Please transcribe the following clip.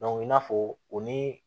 i n'a fɔ o ni